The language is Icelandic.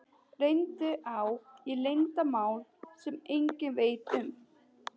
Reyndar á ég leyndarmál sem enginn veit um.